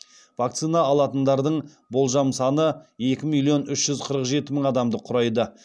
вакцина алатындардың болжам саны екі миллион үш жүз қырық жеті мың адамды құрайды